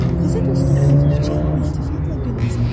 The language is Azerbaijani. Təzə dostum xəfifcə iltifatla gülümsədi.